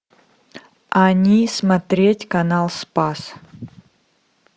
они смотреть канал спас